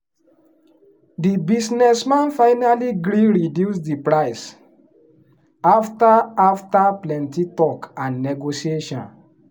the business man finally gree reduce the price after after plenty talk and negotiation.